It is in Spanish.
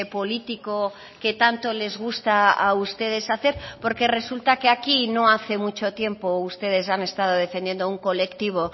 político que tanto les gusta a ustedes hacer porque resulta que aquí no hace mucho tiempo ustedes han estado defendiendo un colectivo